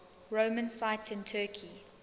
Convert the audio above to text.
roman sites in turkey